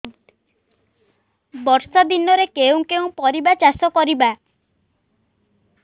ବର୍ଷା ଦିନରେ କେଉଁ କେଉଁ ପରିବା ଚାଷ କରିବା